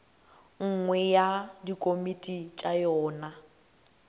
nngwe ya dikomiti tša yona